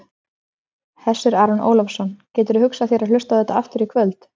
Hersir Aron Ólafsson: Gætirðu hugsað þér að hlusta á þetta aftur í kvöld?